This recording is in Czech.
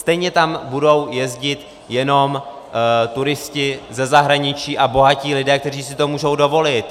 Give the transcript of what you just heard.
Stejně tam budou jezdit jenom turisté ze zahraničí a bohatí lidé, kteří si to mohou dovolit.